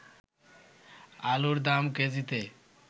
আলুর দাম কেজিতে